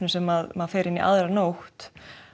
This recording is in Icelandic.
sem maður fer inn í aðra nótt